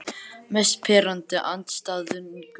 Mest pirrandi andstæðingurinn?